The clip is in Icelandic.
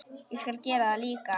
Ég skal gera það líka.